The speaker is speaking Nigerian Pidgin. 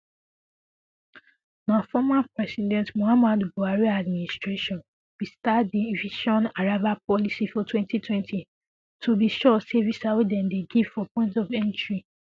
na former president muhammadu buhari administration bin start di um visaonarrival policy for 2020 to be shortstay visa wey dem dey give for point of entry